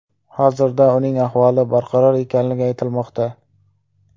Hozirda uning ahvoli barqaror ekanligi aytilmoqda.